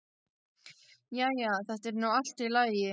Jæja, þetta er nú allt í lagi.